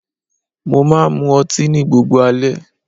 Mo máa ń mú ọtí ní gbogbo alẹ́.